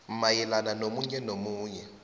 mayelana nomunye nomunye